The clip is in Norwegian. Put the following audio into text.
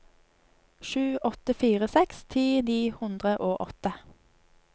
sju åtte fire seks ti ni hundre og åtte